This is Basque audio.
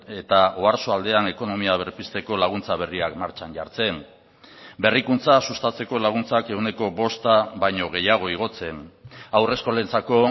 eta oarsoaldean ekonomia berpizteko laguntza berriak martxan jartzen berrikuntza sustatzeko laguntzak ehuneko bosta baino gehiago igotzen haurreskolentzako